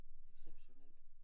Exceptionelt